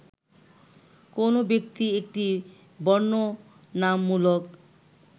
কোন ব্যক্তি একটি বর্ণনামূলক